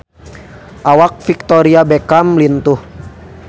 Awak Victoria Beckham lintuh